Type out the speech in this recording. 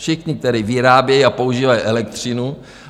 Všichni, kteří vyrábějí a používají elektřinu.